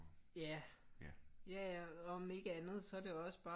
Ja ja ja om ikke andet så er det også bare